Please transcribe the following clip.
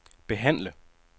behandle